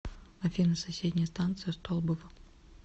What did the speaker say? афина соседняя станция столбово